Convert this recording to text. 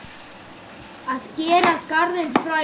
Að gera garðinn frægan